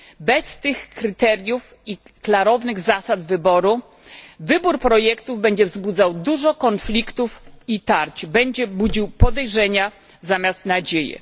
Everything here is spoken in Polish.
Bez tych kryteriów i klarownych zasad wybór projektu będzie wzbudzał dużo konfliktów i tarć, będzie budził podejrzenia zamiast nadziei.